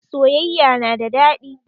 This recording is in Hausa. Soyayya na da daɗi